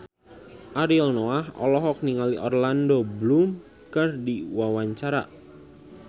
Ariel Noah olohok ningali Orlando Bloom keur diwawancara